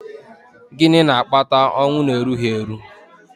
gịnị na-akpata ọnwụ n'erughị eru?